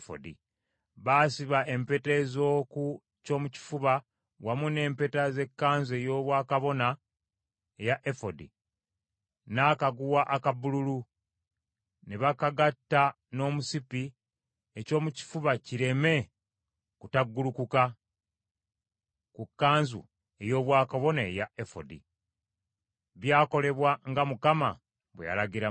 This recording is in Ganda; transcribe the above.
Baasiba empeta ez’oku kyomukifuba wamu n’empeta z’ekkanzu ey’obwakabona eya efodi n’akaguwa aka bbululu, ne bakagatta n’omusipi ekyomukifuba kireme kutaggulukuka ku kkanzu ey’obwakabona eya efodi. Byakolebwa nga Mukama bwe yalagira Musa.